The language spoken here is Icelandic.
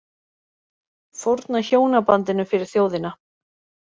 Fórna hjónabandinu fyrir þjóðina